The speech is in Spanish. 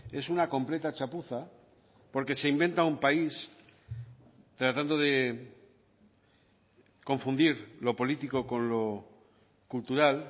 es una completa chapuza porque se inventa un país tratando de confundir lo político con lo cultural